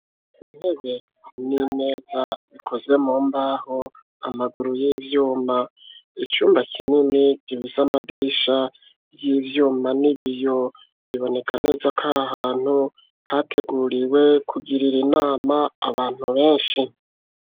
Intebe n'imeza bikozwe mu mbaho amaguru y'ivyuma icumba kinini gibuza amadirisha y'ivyuma n'ibiyo biboneka neza ko ahantu hateguriwe kugirira inama abantu benshi.